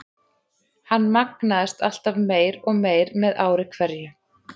Hann magnaðist alltaf meir og meir með ári hverju.